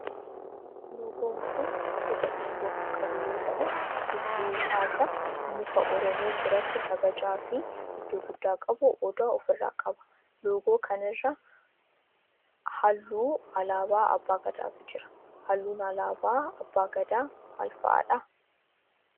Loogoon kun boca geengoo kan qabu yoo ta'u gidduu isaa irraa muka oromoo biratti kabajaa fi iddoo guddaa qabu odaa of irraa qaba. Loogoo kan irra halluu alaabaa abbaa gadaatu jira. Halluun alaabaa abbaa Gadaa maal fa'aadha?